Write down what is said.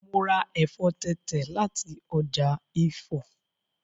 Mo ra ẹ̀fọ́ tẹ̀tẹ̀ láti ọjà Ifọ̀